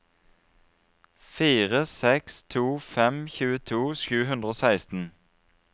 fire seks to fem tjueto sju hundre og seksten